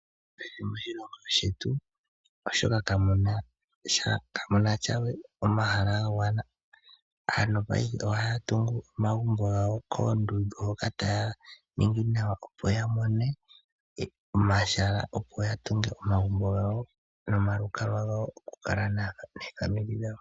Kehe moshilongo shetu kamu na sha we omahala ga gwana. Aantu paife ohaya tungu omagumbo gawo koondundu hoka taya ningi nawa, opo ya mone omahala, opo ya tunge omagumbo gawo nomalukalwa gawo gokukala noofamili dhawo.